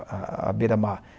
à à beira mar.